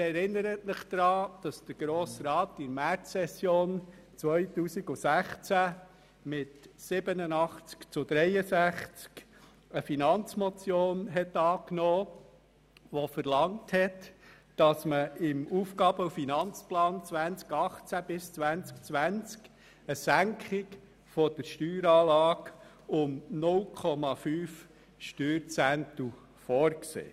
In der Märzsession 2016 hat der Grosse Rat eine Finanzmotion mit 87 zu 63 Stimmen angenommen, welche verlangt hat, im AFP 2018−2020 eine Senkung der Steueranlage um 0,5 Steuerzehntel vorzusehen.